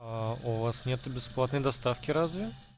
аа у вас нету бесплатной доставки разве